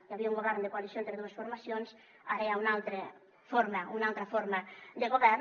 hi havia un govern de coalició entre dues formacions ara hi ha una altra forma una altra forma de govern